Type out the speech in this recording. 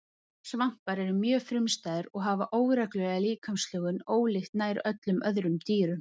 svampar eru mjög frumstæðir og hafa óreglulega líkamslögun ólíkt nær öllum öðrum dýrum